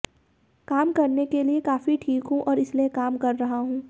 काम करने के लिए काफी ठीक हूं और इसलिए काम कर रहा हूं